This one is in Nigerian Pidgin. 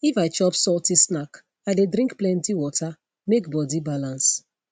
if i chop salty snack i dey drink plenty water make body balance